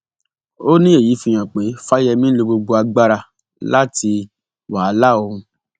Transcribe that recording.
ó ní èyí fi hàn pé fáyẹmì ń lo gbogbo agbára láti wàhálà òun